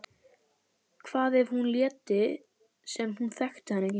Hvað ef hún léti sem hún þekkti hann ekki?